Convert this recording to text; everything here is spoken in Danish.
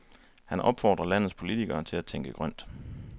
Han opfordrer landets politikere til at tænke grønt.